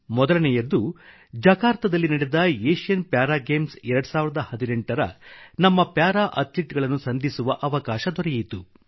ಮೊದಲನೆಯದ್ದು ಜಕಾರ್ತಾದಲ್ಲಿ ನಡೆದ Asian para games 2018 ರ ನಮ್ಮ ಪ್ಯಾರಾ ಅಥ್ಲೀಟ್ಗಳನ್ನು ಸಂಧಿಸುವ ಅವಕಾಶ ದೊರೆಯಿತು